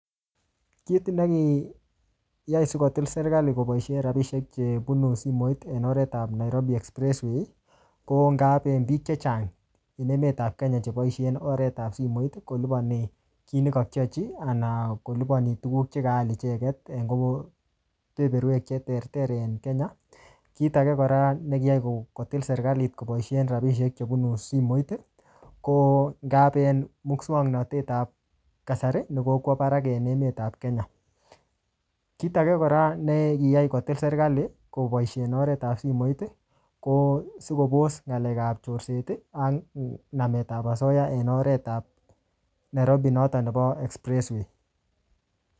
Kit nekiyai sikotil serikali koboisie rabisiek che bunu simoit en oret ap Nairobi expressway, ko ngaben biik chechang en emet ap Kenya ne boisien oretap simoit, kolipani kiy ne kakiochi, anan kolipani tuguk chekaal icheket, en kobo-berbewek che ter ter en Kenya. Kit age kora ne kiyai ko-kotil serikalit koboisien rabisiek chebunu simoit, ko ngap en muswoktnotetab kasari, ne kokwo barak en emet ap Kenya. Kit age kora ne kiyai kotil serikali koboisien oretap simoit ko sikobos ng'alek ap chorset, ak nametab asoya en oretab Nairobi noton nebo expressway.